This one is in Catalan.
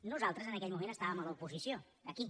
nosaltres en aquell moment estàvem a l’oposició aquí